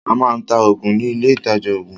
A máa ń ta oògùn ní ilé ìtajà oògùn